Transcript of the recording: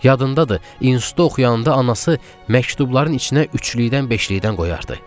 Yadındadır, institutda oxuyanda anası məktubların içinə üçlükdən, beşlikdən qoyardı.